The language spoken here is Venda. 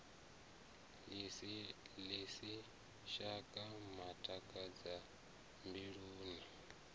ḽi si shaka matakadza mbiluni